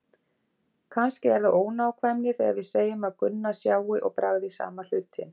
Kannski er það ónákvæmni þegar við segjum að Gunna sjái og bragði sama hlutinn.